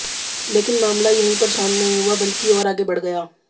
लेकिन मामला यहीं पर शांत नहीं हुआ बल्कि और आगे बढ़ गया